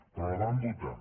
però la van votar